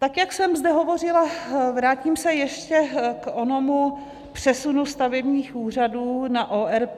Tak jak jsem zde hovořila, vrátím se ještě k onomu přesunu stavebních úřadů na ORP.